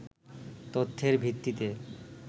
তথ্যের ভিত্তিতে